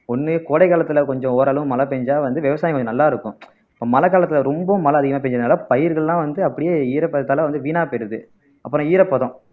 ஒண்ணு கோடை காலத்துல கொஞ்சம் ஓரளவு மழை பெஞ்சா வந்து விவசாயம் கொஞ்சம் நல்லா இருக்கும் மழை காலத்துல ரொம்பவும் மழை அதிகமா பெஞ்சதுனால பயிர்கள்லாம் வந்து அப்படியே ஈரப்பதத்தால வந்து வீணா போயிடுது அப்புறம் ஈரப்பதம்